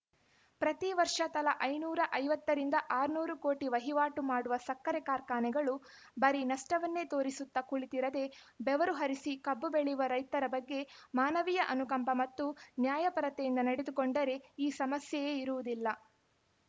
ಪ್ರತಿವರ್ಷ ತಲಾ ಐನೂರ ಐವತ್ತರಿಂದ ಆರುನೂರು ಕೋಟಿ ವಹಿವಾಟು ಮಾಡುವ ಸಕ್ಕರೆ ಕಾರ್ಖಾನೆಗಳು ಬರೀ ನಷ್ಟವನ್ನೇ ತೋರಿಸುತ್ತ ಕುಳಿತಿರದೆ ಬೆವರು ಹರಿಸಿ ಕಬ್ಬು ಬೆಳೆಯುವ ರೈತರ ಬಗ್ಗೆ ಮಾನವೀಯ ಅನುಕಂಪ ಮತ್ತು ನ್ಯಾಯಪರತೆಯಿಂದ ನಡೆದುಕೊಂಡರೆ ಈ ಸಮಸ್ಯೆಯೇ ಇರುವುದಿಲ್ಲ